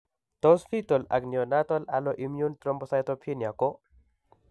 Tos fetal ak neonatal alloimmune thrombocytopenia ko